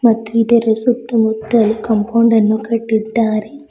ಮತ್ತು ಇದರ ಸುತ್ತಮುತ್ತಲು ಕಾಂಪೌಂಡ್ ಅನ್ನು ಕಟ್ಟಿದ್ದಾರೆ.